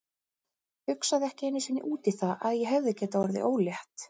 Hugsaði ekki einu sinni út í það að ég hefði getað orðið ólétt.